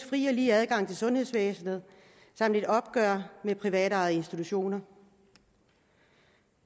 fri og lige adgang til sundhedsvæsenet og et opgør med privatejede institutioner